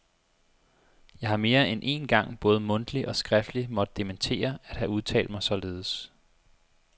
Jeg har mere end én gang både mundtligt og skriftligt måtte dementere at have udtalt mig således.